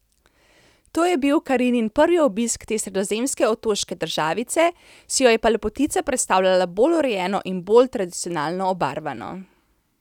To je bil Karinin prvi obisk te sredozemske otoške državice, si jo je pa lepotica predstavljala bolj urejeno in bolj tradicionalno obarvano.